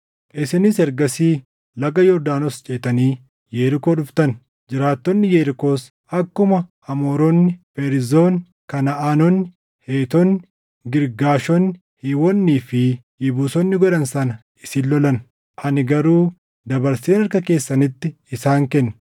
“ ‘Isinis ergasii laga Yordaanos ceetanii Yerikoo dhuftan. Jiraattonni Yerikoos akkuma Amooronni, Feerzonni, Kanaʼaanonni, Heetonni, Girgaashonni, Hiiwonnii fi Yebuusonni godhan sana isin lolan; ani garuu dabarseen harka keessanitti isaan kenne.